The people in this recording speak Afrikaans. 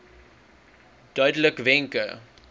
duidelikwenke